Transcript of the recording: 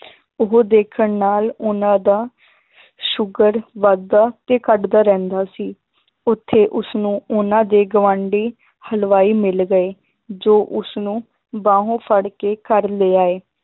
ਉਹ ਦੇਖਣ ਨਾਲ ਉਹਨਾਂ ਦਾ ਸ਼ੂਗਰ ਵੱਧਦਾ ਤੇ ਘੱਟਦਾ ਰਹਿੰਦਾ ਸੀ, ਉੱਥੇ ਉਸਨੂੰ ਉਹਨਾਂ ਦੇ ਗਵਾਂਢੀ ਹਲਵਾਈ ਮਿਲ ਗਏ, ਜੋ ਉਸਨੂੰ ਬਾਹੋਂ ਫੜਕੇ ਘਰ ਲਿਆਏ